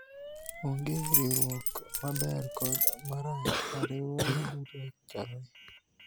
onge riwruok maber kod marach ,riwruoge duto chalre